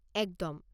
একদম!